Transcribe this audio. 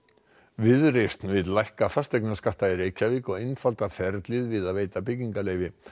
viðreisn vill lækka fasteignaskatta í Reykjavík og einfalda ferlið við að veita byggingaleyfi